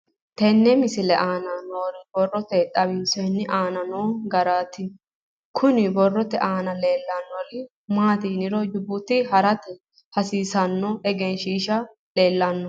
Tenne misile aana noore borroteni xawiseemohu aane noo gariniiti. Kunni borrote aana leelanori maati yiniro jibuuti harate hasiissanno egeesishi leelano.